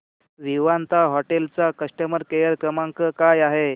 Vivanta hotel चा customer care क्रमांक काय आहे